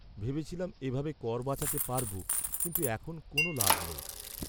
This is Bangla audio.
ভেবেছিলাম এভাবে কর বাঁচাতে পারবো, কিন্তু এখন কোনও লাভ নেই।